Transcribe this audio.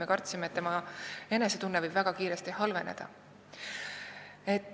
Me kartsime, et inimese enesetunne võib väga kiiresti halveneda.